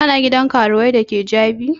Kana gidan karuwai da ke Jabi road?